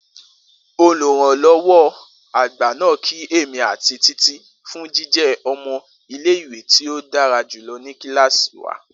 Oluranlọwọ agba naa ki emi ati Titi fun jijẹ ọmọ ile-iwe ti o dara julọ ni kilasi wa.